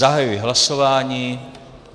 Zahajuji hlasování.